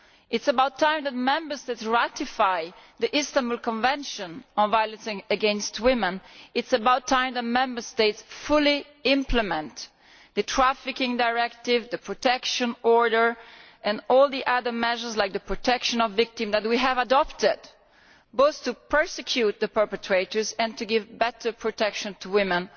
It is about time the Member States ratified the Istanbul Convention on violence against women. It is about time the Member States fully implemented the Trafficking Directive, the protection order and all the other measures, such as on protection of victims, that we have adopted, both to prosecute the perpetrators and to give better cross border protection to women.